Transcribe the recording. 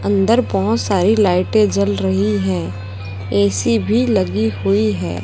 अंदर बहुत सारी लायटे जल रही है ए_सी भी लगी हुई है।